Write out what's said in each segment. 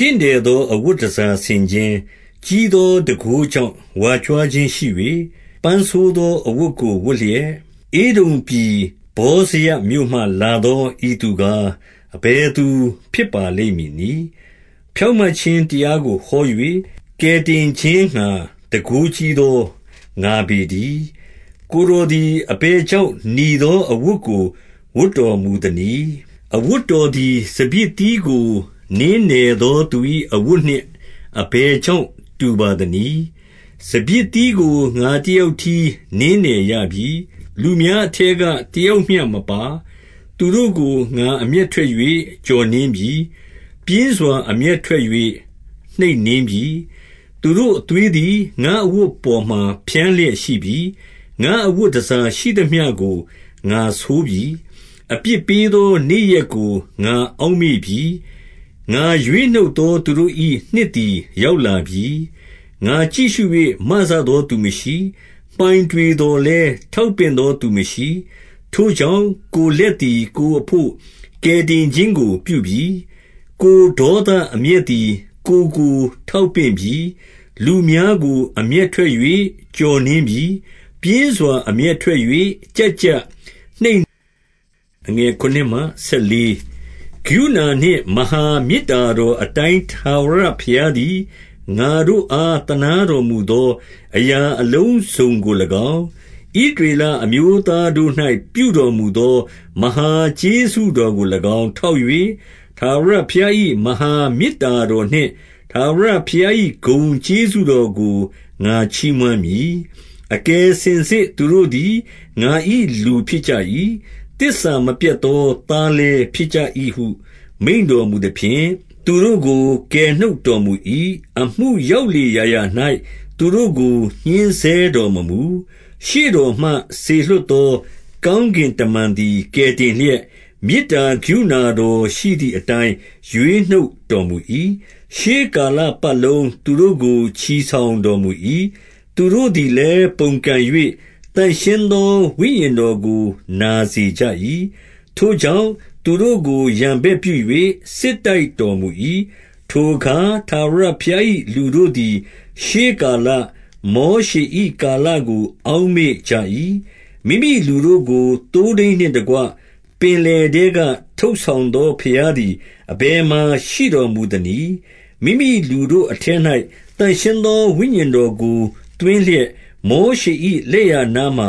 တင့်တယ်သော အဝတ်တန်ဆာဆင်ခြင်း၊ ကြီးသောတန်ခိုးကြောင့် ဝါကြွားခြင်းရှိ၍၊ ပန်းဆိုးသော အဝတ်ကိုဝတ်လျက်၊ ဧဒုံပြည်ဗောဇရမြို့မှလာသော ဤသူကား၊ အဘယ်သူဖြစ်ပါလိမ့်မည်နည်း။ 2 ကိုယ်တော်သည် အဘယ်ကြောင့် နီသောအဝတ်ကို ဝတ်တော်မူသနည်း။ အဝတ်တော်သည် စပျစ်သီးကို နင်းနယ်သော သူ၏အဝတ်နှင့် အဘယ် ကြောင့် တူပါသနည်း။ 3 စပျစ်သီးကို ငါတယောက်တည်းနင်းနယ်ရပြီ။ လူများအထဲကတယောက်မျှမပါ။ သူတို့ကို ငါအမျက်ထွက်၍ ကျော်နင်းပြီ။ ပြင်းစွာအမျက်ထွက်၍ နှိပ်နင်းပြီ။ သူတို့အသွေးသည် ငါ့အဝတ်ပေါ်မှာ ဖျန်းလျက်ရှိပြီ။ ငါ့ အဝတ်တန်ဆာရှိသမျှကို ငါဆိုးပြီ။ 4 အပြစ်ပေးသော နေ့ရက်ကို ငါအောက်မေ့ပြီ။ ငါရွေးနှုတ်သော သူတို့၏ နှစ်သည် ရောက်လာပြီ။ 5 ငါကြည့်ရှု၍ မစသော သူမရှိ။ မှိုင်တွေသော် လည်း ထောက်ပင့်သောသူမရှိ။ ထိုကြောင့်၊ ကိုယ်လက် သည် ကိုယ်အဘို့ ကယ်တင်ခြင်းကို ပြုပြီ။ ကိုယ်ဒေါသ အမျက်သည် ကိုယ်ကို ထောက်ပင့်ပြီ။ 6 လူများကို အမျက်ထွက်၍ ကျော်နင်းပြီ။ ပြင်းစွာ အမျက်ထွက်၍ ကျပ်ကျပ်နှိပ်နင်းပြီ။ သူတို့အသွေးကို မြေပေါ်မှာ သွန်ပြီ။ 7 ကရုဏာနှင့် မဟာမေတ္တာတော်အတိုင်း ထာဝရဘုရားသည် ငါတို့အား သနားတော်မူသော အရာအလုံး စုံကို၎င်း၊ ဣသရေလအမျိုးသားတို့၌ ပြုတော်မူသော မဟာကျေးဇူးတော်ကို၎င်း ထောက်၍၊ ထာဝရဘုရား၏ မဟာမေတ္တာတော်နှင့်၊ထာဝရဘုရား၏ ဂုဏ်ကျေးဇူးတော်ကို ငါချီးမွမ်းမည်။ 8 အကယ်စင်စစ် သူတို့သည် ငါ၏လူဖြစ်ကြ၏။ သစ္စာမပျက်သော သားလည်း ဖြစ်ကြ၏ဟု မိန့်တော်မူ သဖြင့်၊ သူတို့ကို ကယ်နှုတ်တော်မူ၏။ 9 အမှုရောက်လေရာရာ၌ သူတို့ကို ညှဉ်းဆဲတော်မမူ။ ရှေ့တော်မှ စေလွှတ်သော ကောင်းကင်တမန်သည် ကယ်တင်လျက်၊ မေတ္တာကရုဏာတော်ရှိသည်အတိုင်းရွေးနှုတ်တော်မူ၏။ ရှေးကာလပတ်လုံး သူတို့ကို ချီဆောင်တော်မူ၏။ 10 သူတို့သည်လည်း ပုန်ကန်၍၊ သန့်ရှင်းသော ဝိညာဉ်တော်ကို နာစေကြ၏။ ထိုကြောင့်၊ သူတို့ကို ရန် ဘက်ပြု၍ စစ်တိုက်တော်မူ၏။ 11 ထိုအခါ ထာဝရဘုရား၏ လူတို့သည် ရှေးကာလ၊ မောရှေ၏ကာလကို အောက်မေ့ကြ၏။ မိမိလူတို့ ကို သိုးထိန်းနှင့်တကွ ပင်လယ်ထဲက ထုတ်ဆောင်သော ဘုရားသည် အဘယ်မှာ ရှိတော်မူသနည်း။ မိမိလူတို့အထဲ ၌ သန့်ရှင်းသော ဝိညာဉ်တော်ကို သွင်းလျက်၊ 12 မောရှေ၏လက်ျာနားမှာ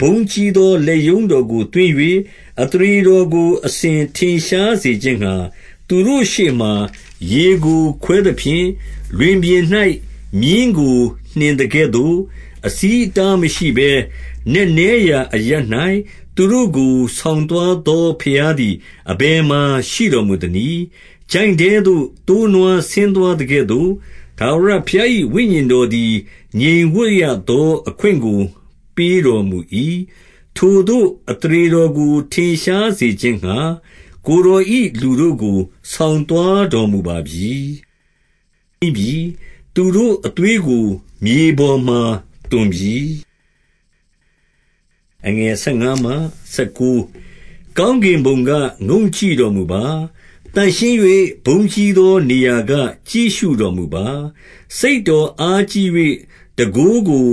ဘုန်းကြီးသော လက်ရုံးတော်ကို သွင်း၍၊ အသရေတော်ကို အစဉ် ထင်ရှားစေခြင်းငှါ၊ သူတို့ရှေ့မှာ ရေကို ခွဲသဖြင့်၊ 13 လွင်ပြင်၌ မြင်းကို နှင်သကဲ့သို့၊ အဆီးအတား မရှိဘဲ နက်နဲရာအရပ်၌ သူတို့ကို ဆောင်သွားသော ဘုရား သည် အဘယ်မှာ ရှိတော်မူသနည်း။ 14 ချိုင့်ထဲသို့သိုးနွား ဆင်းသွားသကဲ့သို့၊ ထာဝရဘုရား၏ ဝိညာဉ်တော်သည် ငြိမ်ဝပ်ရသော အခွင့်ကို ပေးတော်မူ၏။ ထိုသို့ အသရေတော်ကို ထင်ရှားစေခြင်းငှါ၊ ကိုယ်တော်၏လူတို့ကို ဆောင်သွားတော်မူပါပြီ။ 15 ကောင်းကင်ဘုံက ငုံ့ကြည့်တော်မူပါ။ သန့်ရှင်း၍ ဘုန်းကြီးသောနေရာက ကြည့်ရှုတော်မူပါ။ စိတ်တော် အားကြီး၍ တန်ခိုးကို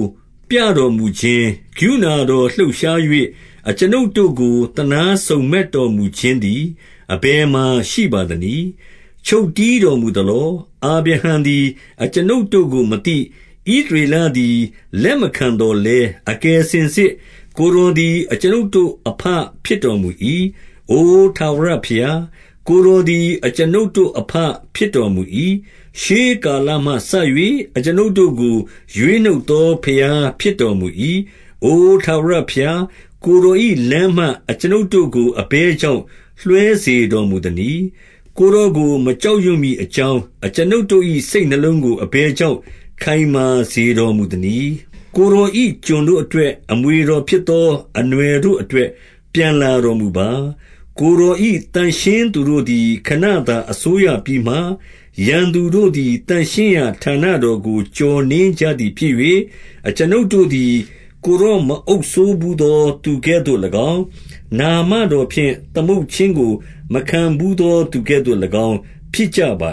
ပြတော်မူခြင်း၊ ကရုဏာတော်လှုပ်ရှား၍ အကျွန်ုပ်တို့ကို သနားစုံမက်တော်မူခြင်းသည် အဘယ်မှာရှိပါသနည်း။ ချုပ်တည်းတော်မူသလော။ 16 အာဗြဟံသည် အကျွန်ုပ်တို့ကိုမသိ၊ ဣသရေလသည် လက်မခံသော်လည်း၊ အကယ်စင်စစ်ကိုယ်တော် သည် အကျွန်ုပ်တို့အဘဖြစ်တော်မူ၏။ အိုထာဝရဘုရား၊ ကိုယ်တော် သည် အကျွန်ုပ်တို့အဘဖြစ်တော်မူ၏။ ရှေးကာလမှစ၍ အကျွန်ုပ်တို့ကို ရွေးနှုတ်သော ဘုရားဖြစ်တော်မူ၏။ 17 အိုထာဝရဘုရား၊ ကိုယ်တော်၏လမ်းမှ အကျွန်ုပ်တို့ကို အဘယ်ကြောင့်လွှဲစေတော်မူသနည်း။ ကိုယ်တော်ကိုမကြောက်ရွံ့မည်အကြောင်း၊ အကျွန်ုပ်တို့၏ စိတ်နှလုံးကိုအဘယ်ကြောင့် ခိုင်မာစေတော်မူသနည်း။ ကိုယ်တော်၏ ကျွန်ုပ်တို့အတွက်၊ အမွေတော်ဖြစ်သောအနွှယ်တို့အတွက် ပြန်လာတော်မူပါ။ 18 ကိုယ်တော်၏ သန့်ရှင်းသူတို့သည် ခဏသာအစိုးရပြီးမှ၊ ရန်သူတို့သည် သန့်ရှင်းရာဌာနတော်ကို ကျော်နင်း ကြသည်ဖြစ်၍၊ 19 အကျွန်ုပ်တို့သည် ကိုယ်တော်မအုပ်စိုးဘူးသော သူကဲ့သို့၎င်း၊ နာမတော်ဖြင့် သမုတ်ခြင်းကိုမခံဘူးသော သူကဲ့သို့၎င်းဖြစ်ကြပါ